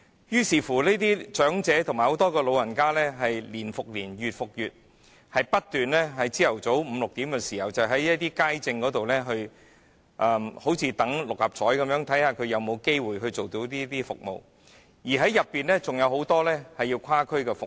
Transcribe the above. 於是，這些長者年復年，月復月，不斷在早上五六時排隊看街症，就像等六合彩開彩般，看看自己有沒有機會獲得這些服務，當中還有許多人須跨區使用服務。